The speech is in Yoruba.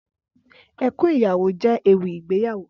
Ẹkún Ìyàwó jè éwì igbéyàwó